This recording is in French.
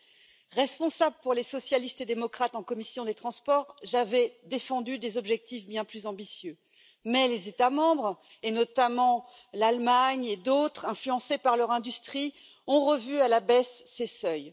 Chargée de représenter les socialistes et démocrates en commission des transports, j'avais défendu des objectifs bien plus ambitieux, mais les États membres, et notamment l'Allemagne et d'autres, influencés par leur industrie, ont revu à la baisse ces seuils.